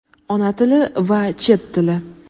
Ona tili va Chet tili.